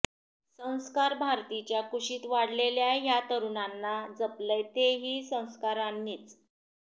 संस्कार भारतीच्या कुशीत वाढलेल्या ह्या तरुणांना जपलंय ते ही संस्कारांनीच